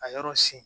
Ka yɔrɔ sen